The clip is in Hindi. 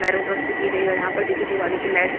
नैरोड्रम्प से की गयी है और यहाँ पर देखिये दिवाली की लाइट --